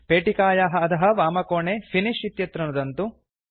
पेटिकायाः अधः वामकोणे फिनिश इत्यत्र नुदन्तु